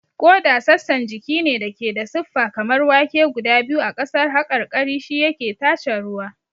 Ƙoda sassan jiki ne da ke da siffa kamar wake guda biyu a ƙasar haƙarƙari, shi yake tace ruwa.